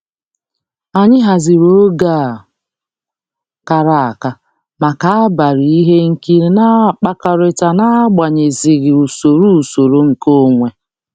Anyị haziri oge a kara aka maka abalị ihe nkiri na-akpakọrịta na-akpaghasịghị usoro usoro nkeonwe.